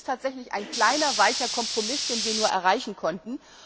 Es ist tatsächlich ein kleiner weicher Kompromiss, den wir erreichen konnten.